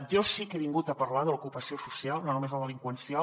jo sí que he vingut a parlar de l’ocupació social no només la delinqüencial